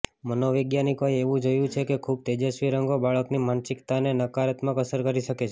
મનોવૈજ્ઞાનિકોએ એવું જોયું છે કે ખૂબ તેજસ્વી રંગો બાળકની માનસિકતાને નકારાત્મક અસર કરી શકે છે